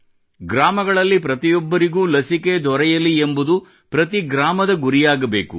ಗ್ರಾಮಗಳಲ್ಲಿ ಪ್ರತಿಯೊಬ್ಬರಿಗೂ ಲಸಿಕೆ ದೊರೆಯಲಿ ಎಂಬುದು ಪ್ರತಿ ಗ್ರಾಮದ ಗುರಿಯಾಗಬೇಕು